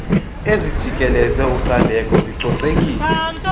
ezijikeleze ucandeko zicocekile